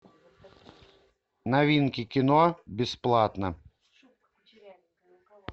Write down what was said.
новинки кино бесплатно